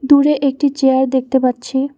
দূরে একটি চেয়ার দেখতে পাচ্ছি।